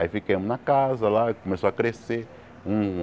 Aí fiquemos na casa lá, começou a crescer. Um